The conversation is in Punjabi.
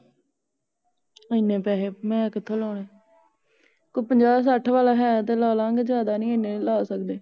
ਏਨੇ ਪੈਹੇ ਮੈ ਕਿਥੋਂ ਲੋਣੇ ਕੋਈ ਪੰਜਾਹ ਸੱਠ ਵਾਲਾ ਹੈ ਤੇ ਲਾਲਾ ਗੇ ਯਾਦਾਂ ਨਹੀਂ ਏਨੇ ਨਹੀਂ ਲੈ ਸਕਦੇ